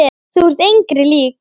Þú ert engri lík.